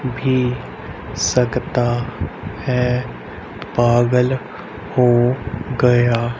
भी सकता है पागल हो गया--